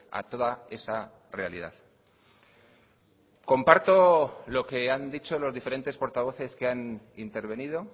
a toda esa realidad comparto lo que han dicho los diferentes portavoces que han intervenido